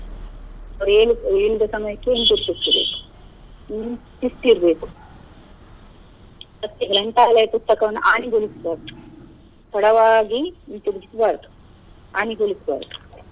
ಅವರು ಹೇಳಿದ ಹೇಳಿದ ಸಮಯಕ್ಕೆ ಹಿಂತಿರಿಗಿಸ್ಬೇಕು ಹ್ಮ್‌ ಶಿಸ್ತು ಇರ್ಬೇಕು ಅದಕ್ಕೆ ಮತ್ತೆ ಗ್ರಂಥಾಲಯ ಪುಸ್ತಕವನ್ನು ಹಾನಿಗೊಳಿಸ್ಬಾರ್ದು ತಡವಾಗಿ ಹಿಂತಿರ್ಗಿಸ್ಬಾರ್ದು ಹಾನಿಗೊಳಿಸ್ಬಾರ್ದು.